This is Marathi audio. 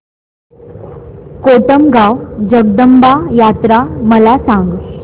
कोटमगाव जगदंबा यात्रा मला सांग